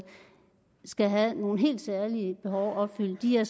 skal have nogle helt særlige behov opfyldt de er